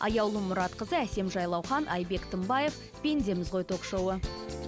аяулым мұратқызы әсем жайлаухан айбек тынбаев пендеміз ғой ток шоуы